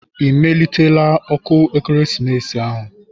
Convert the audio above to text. Ị melitela ọkụ ekeresimesi ahụ?